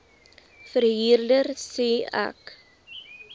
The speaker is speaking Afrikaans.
verhuurder sê ek